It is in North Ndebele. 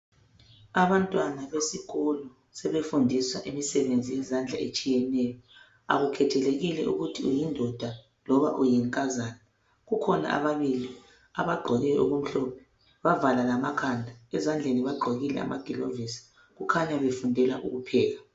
Abantwana besikolo sebefundiswa imisebenzi yezandla etshiyeneyo akukhethelekile ukuthi uyindoda loba uyinkazana kukhona ababili abagqoke okumhlophe bavala lamakhanda ezandleni bagqokile amagilovisi kukhanya befundela ukupheka.